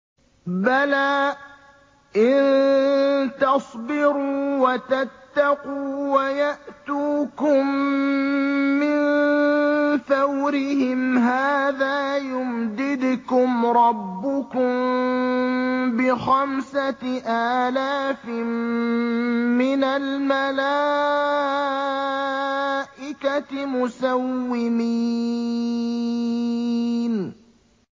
بَلَىٰ ۚ إِن تَصْبِرُوا وَتَتَّقُوا وَيَأْتُوكُم مِّن فَوْرِهِمْ هَٰذَا يُمْدِدْكُمْ رَبُّكُم بِخَمْسَةِ آلَافٍ مِّنَ الْمَلَائِكَةِ مُسَوِّمِينَ